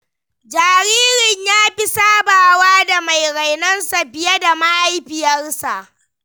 Jaririn ya fi sabawa da mai rainonsa fiye da mahaifiyarsa.